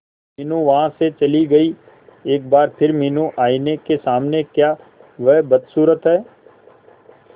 मीनू वहां से चली गई एक बार फिर मीनू आईने के सामने क्या वह बदसूरत है